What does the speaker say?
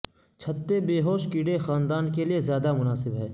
چھتے بیہوش کیڑے خاندانوں کے لئے زیادہ مناسب ہے